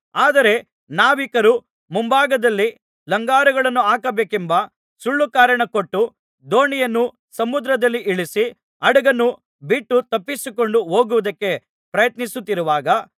ಆದರೆ ನಾವಿಕರು ಮುಂಭಾಗದಲ್ಲಿ ಲಂಗರುಗಳನ್ನು ಹಾಕಬೇಕೆಂಬ ಸುಳ್ಳುಕಾರಣ ಕೊಟ್ಟು ದೋಣಿಯನ್ನು ಸಮುದ್ರದಲ್ಲಿ ಇಳಿಸಿ ಹಡಗನ್ನು ಬಿಟ್ಟು ತಪ್ಪಿಸಿಕೊಂಡು ಹೋಗುವುದಕ್ಕೆ ಪ್ರಯತ್ನಿಸುತ್ತಿರುವಾಗ